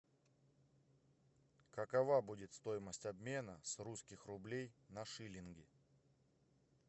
какова будет стоимость обмена с русских рублей на шиллинги